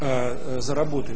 а заработай